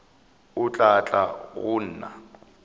o tla tla go nna